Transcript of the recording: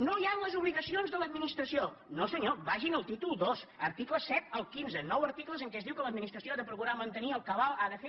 no hi han les obligacions de l’administració no senyor vagin al títol ii article set al quinze nou articles en què es diu que l’administració ha de procurar mantenir el cabal ha de fer